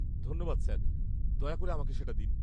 ধন্যবাদ স্যার, দয়া করে আমাকে সেটা দিন।